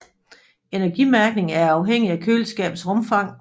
Energimærkning er afhængig af køleskabets rumfang